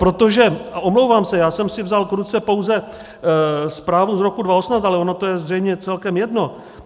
Protože, a omlouvám se, já jsem si vzal k ruce pouze zprávu z roku 2018, ale ono je to zřejmě celkem jedno.